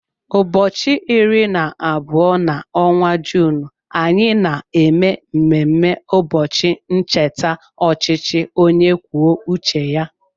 Ụbọchị iri na abụọ n'ọnwa Juun, anyị na eme mmemme ụbọchị ncheta ọchịchị onye kwuo uche ya.